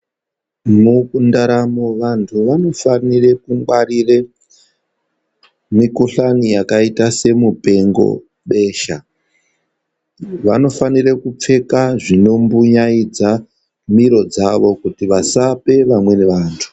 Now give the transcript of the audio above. Mundaramo vantu vanofanire kungwarire mikuhlani yakaita semupengo, besha vanofanira kupfeka zvinombunyaidza miro dzavo kuti vasape vamweni vantu.